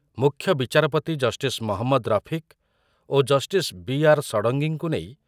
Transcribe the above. ମୁଖ୍ୟବିଚାରପତି ଜଷ୍ଟିସ୍ ମହମ୍ମଦ ରଫିକ୍ ଓ justice B R ଷଡ଼ଙ୍ଗୀଙ୍କୁ ନେଇ